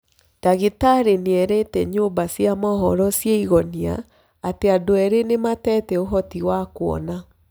Dagĩ tarĩ nĩ erĩ te nyũmba cĩ a mohoro cĩ a Igonia atĩ adũ erĩ nĩ matete ũhoti wa kuona